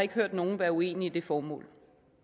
ikke hørt nogen være uenig i det formål